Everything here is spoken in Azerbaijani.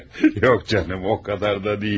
Yox canım, o qədər də deyil.